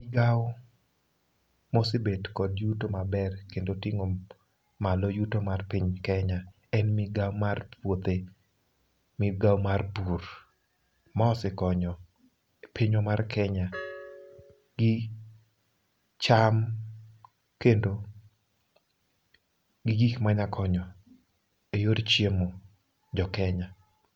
Migawo mosebet kod yuto maber kendo ting'o malo yuto mar piny kenya en migawo mar puothe. Migao mar pur, ma osekonyo e pinywa mar Kenya gi cham kendo gi gik manyakonyo e yor chiemo jo Kenya.